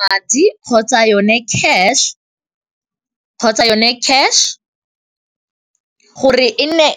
Madi kgotsa yone cash gore e nne